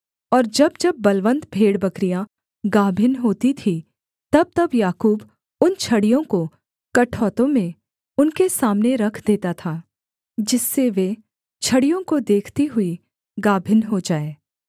और जब जब बलवन्त भेड़बकरियाँ गाभिन होती थीं तबतब याकूब उन छड़ियों को कठौतों में उनके सामने रख देता था जिससे वे छड़ियों को देखती हुई गाभिन हो जाएँ